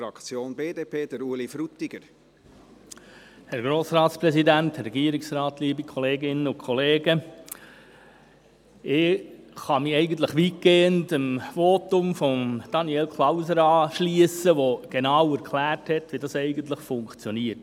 Ich kann mich eigentlich weitgehend dem Votum von Daniel Klauser anschliessen, der genau erklärt hat, wie das eigentlich funktioniert.